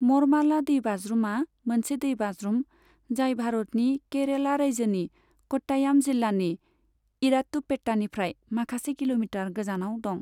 मरमाला दैबाज्रुमा मोनसे दैबाज्रुम, जाय भारतनि केरेला रायजोनि कट्टायाम जिल्लानि इरात्तुपेत्तानिफ्राय माखासे किल'मिटार गोजानाव दं।